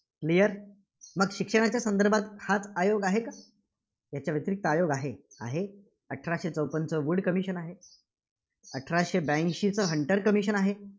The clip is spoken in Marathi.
Clear मग शिक्षणाच्या संदर्भात हाच आयोग आहे का? याच्या व्यतिरिक्त आयोग आहे? आहे. अठराशे चोपन्नचा वुड commission आहे, अठराशे ब्याऐंशीचं हंटर commission आहे.